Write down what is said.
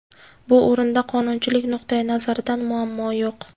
Bu o‘rinda qonunchilik nuqtai nazaridan muammo yo‘q.